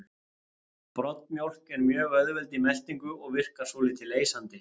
Broddmjólk er mjög auðveld í meltingu og virkar svolítið leysandi.